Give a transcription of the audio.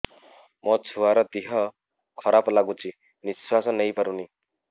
ମୋ ଛୁଆର ଦିହ ଖରାପ ଲାଗୁଚି ନିଃଶ୍ବାସ ନେଇ ପାରୁନି